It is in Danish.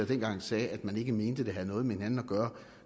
dengang sagde at man ikke mente at det havde noget med hinanden at gøre